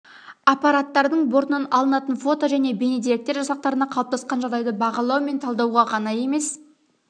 аппараттардың бортынан алынатын фото және бейне деректер жасақтарына қалыптасқан жағдайды бағалау мен талдауға ғана емес